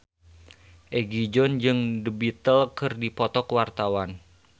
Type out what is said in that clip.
Egi John jeung The Beatles keur dipoto ku wartawan